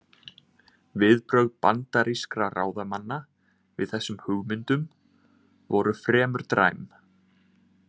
Viðbrögð bandarískra ráðamanna við þessum hugmyndum voru fremur dræm.